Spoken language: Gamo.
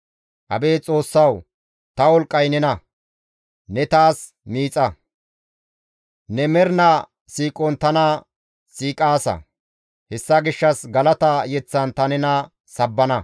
Abeet Xoossawu! Ta wolqqay nena; ne taas miixa; ne mernaa siiqon tana siiqaasa; hessa gishshas galata yeththan ta nena sabbana.